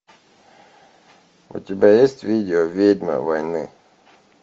у тебя есть видео ведьма войны